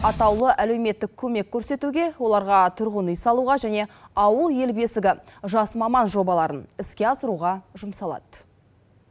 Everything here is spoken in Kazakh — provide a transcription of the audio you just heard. атаулы әлеуметтік көмек көрсетуге оларға тұрғын үй салуға және ауыл ел бесігі жас маман жобаларын іске асыруға жұмсалады